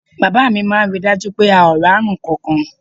Bàbá mi máa ń rí i dájú pé a ò rárùn ǹkankan